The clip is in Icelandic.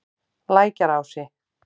Lækjarási